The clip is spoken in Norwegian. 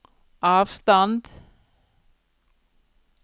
avstand